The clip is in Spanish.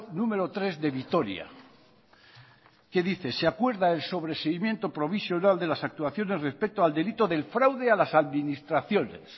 número tres de vitoria que dice se acuerda el sobreseimiento provisional de las actuaciones respecto al delito del fraude a las administraciones